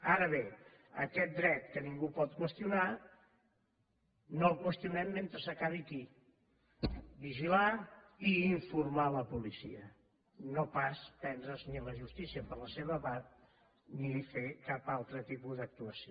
ara bé aquest dret que ningú pot qüestionar no el qüestionem mentre s’acabi aquí vigilar i informar la policia no pas prendre’s ni la justícia per la seva part ni fer cap altre tipus d’actuació